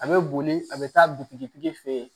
A bɛ boli a bɛ taa butigi fɛ yen